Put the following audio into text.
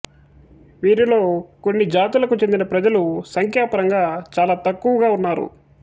వీరిలో కొన్ని జాతులకు చెందిన ప్రజలు సంఖ్యాపరంగా చాలా తక్కువగా ఉన్నారు